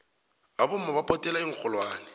abomama baphothela iinxholwane